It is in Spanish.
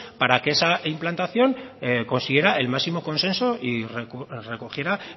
para que esa implantación consiguiera el máximo consenso y recogiera